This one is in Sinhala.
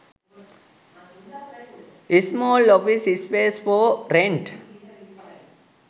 small office space for rent